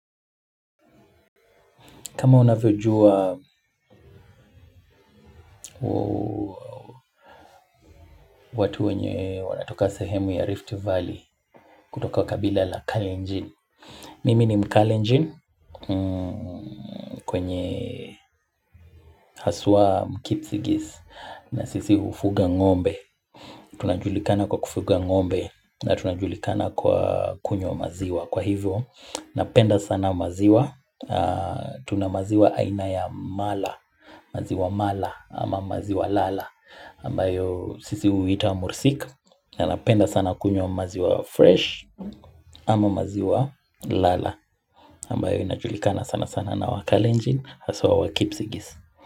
Kama unavyojua watu wenye wanatoka sehemu ya Rift Valley kutoka wa kabila la Kalenjin. Mimi ni mkalenjin kwenye haswa mkipsigis na sisi hufuga ng'ombe. Tunajulikana kwa kufuga ngombe na tunajulikana kwa kunyo maziwa. Kwa hivyo, napenda sana maziwa. Tuna maziwa aina ya mala. Maziwa mala ama maziwa lala. Ambayo sisi huita mursik na napenda sana kunywa maziwa fresh ama maziwa lala ambayo inajulikana sana sana na wakalenjin hasa wakipsigis.